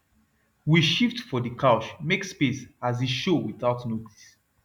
we shift for the couch make space as he show without notice